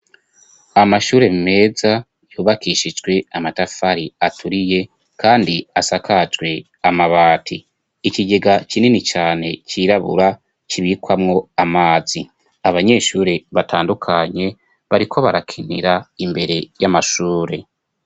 Amashure meza yubakishijwe amatafari aturiye kandi asakajwe amabati .Ikigega kinini cane cirabura ,kibikwamwo amazi. Abanyeshuri batandukanye bariko barakinira imbere y'amashure.